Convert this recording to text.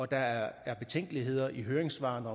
der er betænkeligheder i høringssvarene